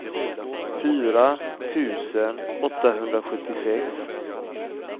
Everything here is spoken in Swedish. fyra tusen åttahundrasjuttiosex